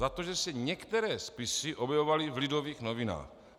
Za to, že se některé spisy objevovaly v Lidových novinách.